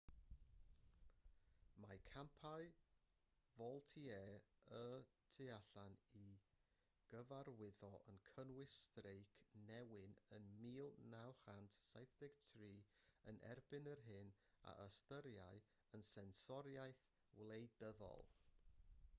mae campau vaultier y tu allan i gyfarwyddo yn cynnwys streic newyn yn 1973 yn erbyn yr hyn a ystyriai yn sensoriaeth wleidyddol